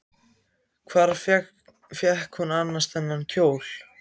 Hvar fékk hún annars þennan kjól?